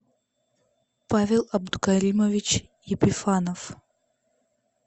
павел абдукаримович епифанов